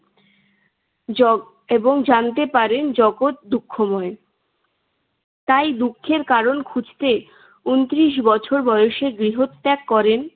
Jug~ এবং জানতে পারেন জগৎ দুঃখময়। তাই দুঃখের কারণ খুঁজতে ঊনত্রিশ বছর বয়সে গৃহত্যাগ করেন।